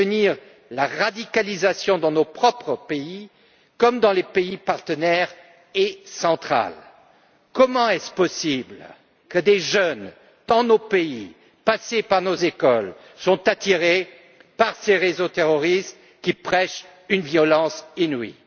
Il est essentiel de prévenir la radicalisation dans nos propres pays comme dans nos pays partenaires. Comment est il possible que des jeunes dans nos pays, passés par nos écoles, soient attirés par ces réseaux terroristes qui prêchent une violence inouïe?